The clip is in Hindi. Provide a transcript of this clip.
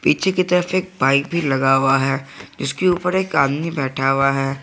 नीचे की तरफ एक पाइप लगाया हुआ है जिसके ऊपर एक आदमी बैठा हुआ है।